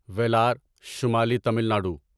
ویلار شمالی تمل ناڈو